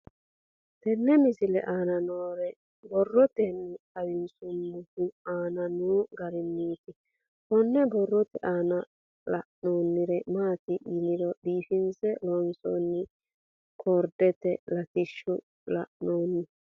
Tenne misile aana noore borroteni xawiseemohu aane noo gariniiti. Kunni borrote aana leelanori maati yiniro biifinse loosonni korderete lattishshi leelanoe.